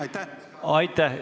Aitäh!